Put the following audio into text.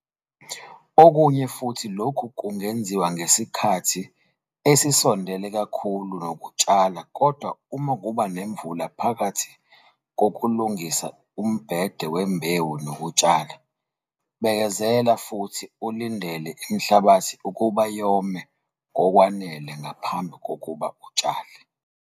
Okunye futhi lokhu kungenziwa ngesikhathi esisondele kakhulu nokutshala kodwa uma kuba nemvula phakathi kokulungisa umbhede wembewu nokutshala, bekezela futhi ulindele imhlabathi ukuba yome ngokwanele ngaphambi kokuba utshale.